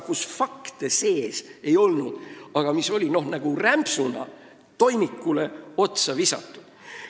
Fakte seal sees ei olnud, aga need oli rämpsuna toimikule otsa visatud.